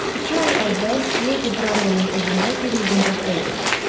İki ay əvvəl Lady Brandonun evində bir yığıncaqda idim.